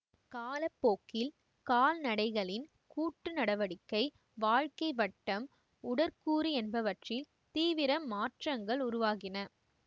கால போக்கில் கால்நடைகளின் கூட்டு நடவடிக்கை வாழ்க்கை வட்டம் உடற்கூறு என்பவற்றில் தீவிர மாற்ரங்கள் உருவாகின